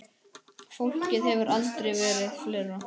Fólkið hefur aldrei verið fleira.